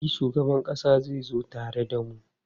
E, shugaban ƙasa zai zo tare da mu.